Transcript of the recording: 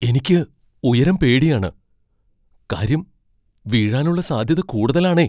എനിക്ക് ഉയരം പേടിയാണ്, കാര്യം വീഴാനുള്ള സാധ്യത കൂടുതലാണേ.